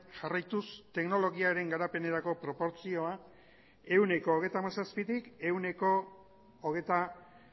jarraituz teknologiaren garapenerako proportzioa ehuneko hogeita hamazazpitik ehuneko hogeita